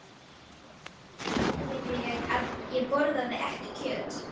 Við kvöldverðinn útskýrði ég að ég borðaði ekki kjöt.